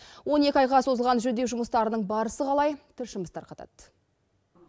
он екі айға созылған жөндеу жұмыстарының барысы қалай тілшіміз тарқатады